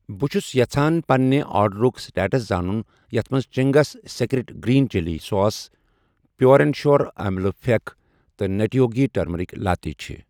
بہٕ چھس یژھان پننہِ آرڈرُک سٹیٹس زانُن یتھ مَنٛز Ching's Secret green chilli sauce Pure and Sure ٲملہٕ پھٮ۪کھ تہٕ نَٹی یوگی ٹٔرمٔرِک لاتے چھ ۔